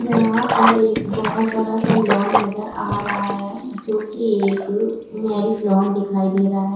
यहाँ पर एक बहोत बड़ासा लॉन नजर आ रहा है जो की एक मॅरेज लॉन दिखाई दे रहा है।